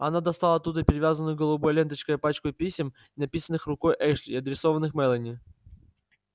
она достала оттуда перевязанную голубой ленточкой пачку писем написанных рукой эшли и адресованных мелани